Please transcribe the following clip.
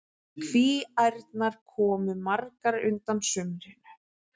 Kvíaærnar komu magrar undan sumrinu.